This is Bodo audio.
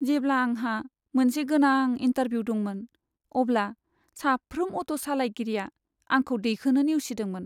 जेब्ला आंहा मोनसे गोनां इन्टारभिउ दंमोन, अब्ला साफ्रोम अट' सालायगिरिया आंखौ दैखोनो नेवसिदोंमोन।